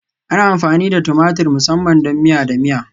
Ana amfani da tumatur musamman don miya da miya